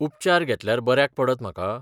उपचार घेतल्यार बऱ्याक पडत म्हाका?